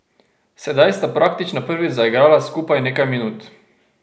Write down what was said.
Sedaj sta praktično prvič zaigrala skupaj nekaj minut.